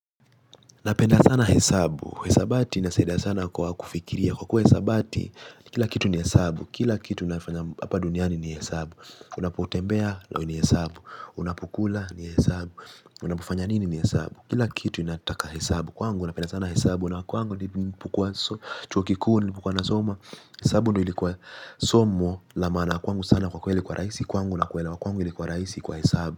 Napenda sana hesabu, hisabati inasaida sana kwa kufikiria kwa kuwa hisabati, kila kitu ni hesabu, kila kitu nafanya hapa duniani ni hesabu. Unapotembea ni hesabu, unapukula ni hesabu, unapufanya nini ni hesabu. Kila kitu inataka hesabu kwangu na penda sana hesabu na kwangu ni pukua chuo kikuu nilipokua nasomo. Hesabu ndio ilikuwa somo la maana kwangu sana kwa kweli kwa raisi kwangu na kwela kwangu ilikuwa raisi kwa hesabu.